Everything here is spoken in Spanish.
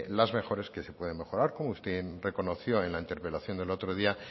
las mejores que se pueden mejorar como usted reconoció en la interpelación del otro día